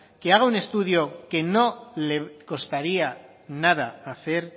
que haga un estudio que no le costaría nada hacer